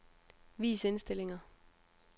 Vis indstillinger.